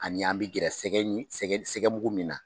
Ani an bɛ gɛrɛ sɛgɛ mugu min na.